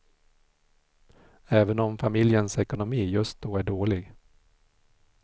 Även om familjens ekonomi just då är dålig.